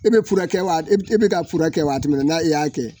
I bɛ furakɛ wa i bɛ ka fura kɛ waati min na i y'a kɛ